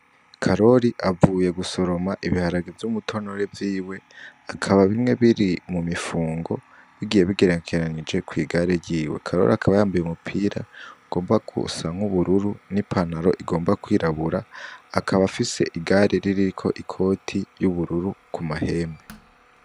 Karoli avuye gusoroma ibiharange vy'umutonore vyiwe akaba bimwe biri mu mifungo bigiye bigerekeranije kw'igare ryiwe karoli akaba yambuye umupira ugomba kusanka ubururu n'ipanaro igomba kwirabura akaba afise igare ririko ikoti y'ubururu ku mahembe.